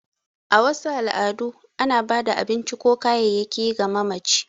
A wasu al’adu, ana ba da abinci ko kayayyaki ga mamaci.